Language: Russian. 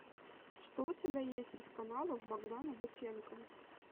что у тебя есть из каналов богдана бутенко